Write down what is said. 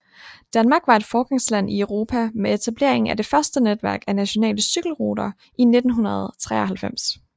Danmark var foregangsland i Europa med etableringen af det første netværk af nationale cykelrute i 1993